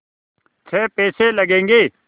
छः पैसे लगेंगे